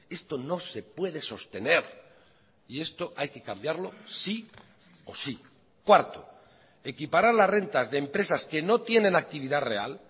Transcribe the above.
esto no se puede sostener y esto hay que cambiarlo sí o sí cuarto equiparar las rentas de empresas que no tienen actividad real